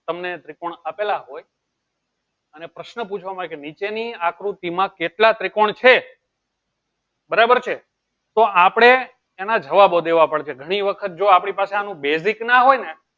તમને ત્રિકોણ આપેલા હોય અને પ્રશ્ન પૂછવા માં આવે કે ભાઈ નીચે ની આકૃતિ માં કેટલા ત્રિકોણ છે બરાબર છે તો આપળે એને ધાબા બોલ દેવા છે ઘણી વખત તો જો આપળી પાસે એના basic ના હોય ને